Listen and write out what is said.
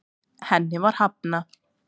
Henni var hafnað.